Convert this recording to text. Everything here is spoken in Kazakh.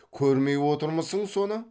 көрмей отырмысың соны